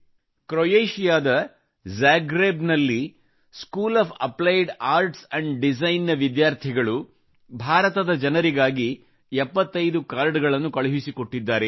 ಕ್ರೊಯೇಷಿಯಾದ Zagreb ನಲ್ಲಿ school of applied arts and design ನ ವಿದ್ಯಾರ್ಥಿಗಳು ಭಾರತದ ಜನರಿಗಾಗಿ 75 ಕಾರ್ಡ್ ಗಳನ್ನು ಕಳುಹಿಸಿಕೊಟ್ಟಿದ್ದಾರೆ